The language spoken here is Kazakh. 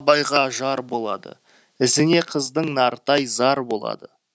жар болады ізіне қыздың нартай зар болады